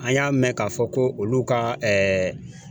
An y'a mɛn k'a fɔ ko olu ka ɛɛ